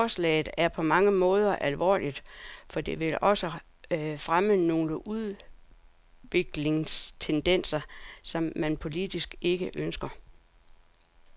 Forslaget er på mange måder alvorligt, for det vil også fremme nogle udviklingstendenser, som man politisk ikke ønsker.